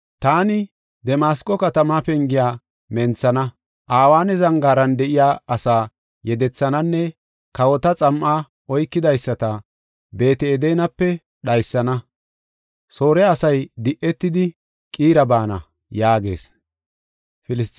Taani Damasqo katamaa pengiya menthana; Aweena zangaaran de7iya asaa yedethananne kawota xam7aa oykidaysata Beet-Edenape dhaysana; Soore asay de7etidi, Qiira baana” yaagees.